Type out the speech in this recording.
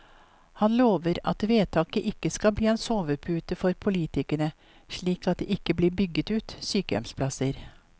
Han lover at vedtaket ikke skal bli en sovepute for politikerne, slik at det ikke blir bygget ut sykehjemsplasser.